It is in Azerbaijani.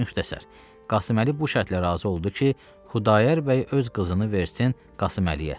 Müxtəsər, Qasımməli bu şərtlə razı oldu ki, Xudayar bəy öz qızını versin Qasımməliyə.